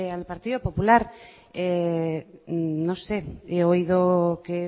al partido popular no sé he oído que